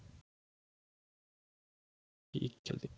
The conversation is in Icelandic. Við spjölluðum lengi í gærkvöldi.